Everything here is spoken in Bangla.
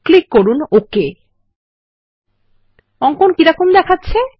ক্লিক করুন ওক অঙ্কন কিরকম দেখাচ্ছে160